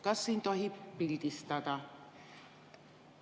Kas siin tohib pildistada?